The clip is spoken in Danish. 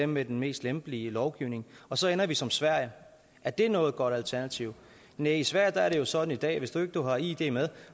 med den mest lempelige lovgivning og så ender vi som sverige er det noget godt alternativ næh i sverige er det jo sådan i dag at hvis ikke du har id med